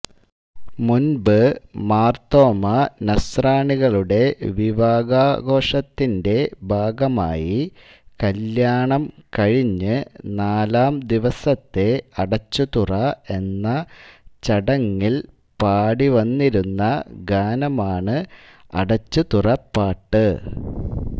മുൻപ് മാർ തോമാ നസ്രാണികളുടെ വിവാഹാഘോഷത്തിന്റെ ഭാഗമായി കല്യാണം കഴിഞ്ഞ് നാലാംദിവസത്തെ അടച്ചുതുറ എന്ന ചടങ്ങിൽ പാടിവന്നിരുന്ന ഗാനമാണ് അടച്ചുതുറപ്പാട്ട്